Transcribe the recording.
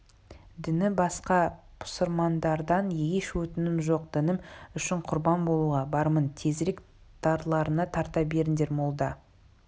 діні басқа пұсырмандардан еш өтінішім жоқ дінім үшін құрбан болуға бармын тезірек дарларыңа тарта беріңдер молда